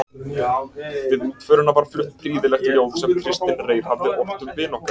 Við útförina var flutt prýðilegt ljóð sem Kristinn Reyr hafði ort um vin okkar